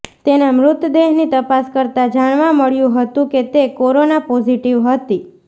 તેના મૃતદેહની તપાસ કરતા જાણવા મળ્યુ હતું કે તે કોરોના પોઝિટિવ હતી